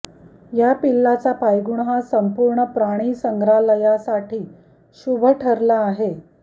या पिल्लाचा पायगुण हा संपूर्ण प्राणीसंग्रहालयासाठीही शुभ ठरला आहे